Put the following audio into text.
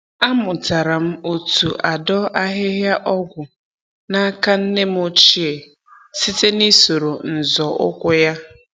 Amụtara m otu adọ ahịhịa ọgwụ n'aka nne m ochie site na-isoro nzọ ụkwụ ya